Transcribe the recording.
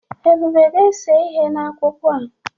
Ebube ga-ese ihe n'akwụkwọ a.